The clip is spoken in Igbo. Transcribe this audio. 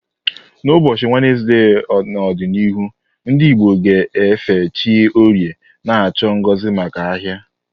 N'ụbọchị Wenezde n'ọdịnihu, ndị Igbo ga-efe chi Orie, na-achọ ngozi maka ahia.